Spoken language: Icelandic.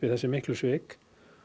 þessi miklu svik